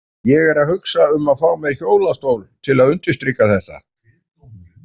Ég er að hugsa um að fá mér hjólastól til að undirstrika þetta.